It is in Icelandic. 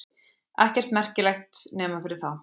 Ekkert merkilegt nema fyrir þá.